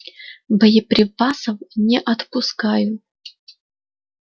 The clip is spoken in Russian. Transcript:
боеприпасов не отпускаю